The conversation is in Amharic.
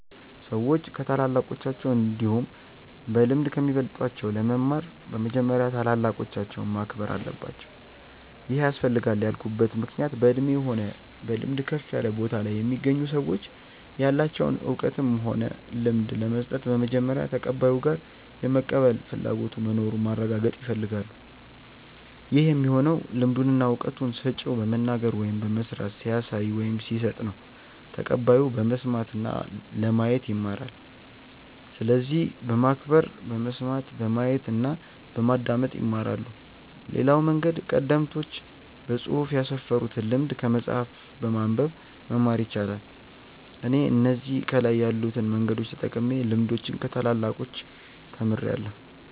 ሰዎች ከታላላቆቻቸው እንዲሁም በልምድ ከሚበልጧቸው ለመማር በመጀመሪያ ታላላቆቻቸውን ማክበር አለባቸው ይሄ ያስፈልጋል ያልኩበት ምክንያት በእድሜ ሆነ በልምድ ከፍ ያለ ቦታ ላይ የሚገኙ ሰዎች ያላቸውን እውቀትም ሆነ ልምድ ለመስጠት በመጀመሪያ ተቀባዩ ጋር የመቀበል ፍላጎቱ መኑሩን ማረጋገጥ ይፈልጋሉ ይህ የሚሆነው ልምዱን እና እውቀቱን ሰጪው በመናገር ወይም በመስራት ሲያሳይ ወይም ሲሰጥ ነው ተቀባዩ በመስማት እና ለማየት ይማራል። ስለዚህ በማክበር በመስማት፣ በማየት እና በማዳመጥ ይማራሉ። ሌላው መንገድ ቀደምቶች በፅሁፍ ያስፈሩትን ልምድ ከመጽሐፍ በማንበብ መማር ይቻላል። እኔ እነዚህ ከላይ ያሉትን መንገዶች ተጠቅሜ ልምዶችን ከታላላቆቻች ተምርያለው።